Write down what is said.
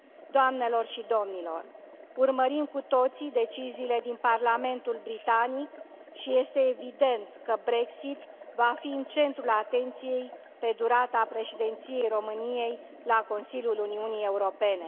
Doamnelor și domnilor, urmărim cu toții deciziile din Parlamentul britanic și este evident că Brexitul va fi în centrul atenției pe durata Președinției României la Consiliul Uniunii Europene.